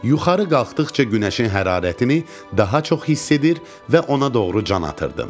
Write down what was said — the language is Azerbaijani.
Yuxarı qalxdıqca günəşin hərarətini daha çox hiss edir və ona doğru can atırdım.